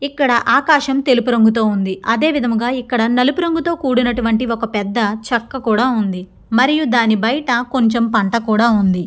ఇక్కడ ఆకాశం తెలుపు రంగుతో ఉంది అదేవిధముగా ఇక్కడ నలుపు రంగుతో కూడినటువంటి ఒక పెద్ద చెక్క కూడా ఉంది. మరియు దాని బయట కొంచెం పంట కూడా ఉంది.